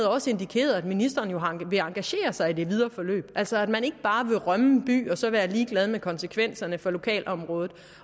også indikeret at ministeren vil engagere sig i det videre forløb altså at man ikke bare vil rømme en by og så være ligeglad med konsekvenserne for lokalområdet